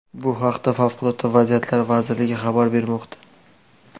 Bu haqda Favqulodda vaziyatlar vazirligi xabar bermoqda .